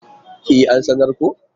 E, an sanar ko.